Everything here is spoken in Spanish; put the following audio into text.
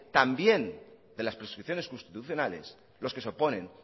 también de las prescripciones constitucionales los que se oponen